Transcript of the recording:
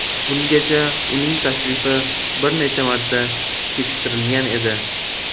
Bungacha uning tashrifi bir necha marta kechiktirilgan edi.